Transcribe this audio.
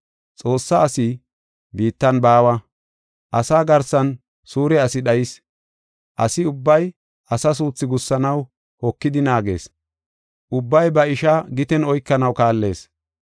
Xoossa asi biittan baawa; asa garsan suure asi dhayis. Asi ubbay asa suuthi gussanaw hokidi naagees; ubbay ba ishaa giten oykanaw kaallees.